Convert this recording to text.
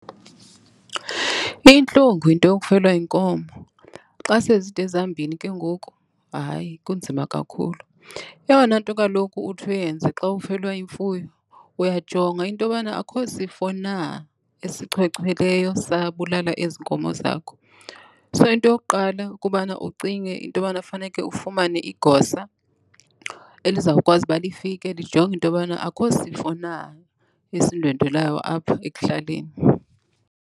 Iyintlungu into yokufelwa yinkomo. Xa sezide zambini ke ngoku, hayi, kunzima kakhulu. Eyona nto kaloku uthi uyenze xa ufelwa yimfuyo uyajonga into yobana akho sifo na esichwechweleyo sabulala ezi nkomo zakho. So, into yokuqala kubana ucinge into yobana funeke ufumane igosa elizawukwazi uba lifike lijonge intobana akho sifo na esindwendwelayo apho ekuhlaleni.